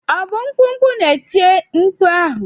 Ọ bụ mkpụkpọ na-eti mkpu a?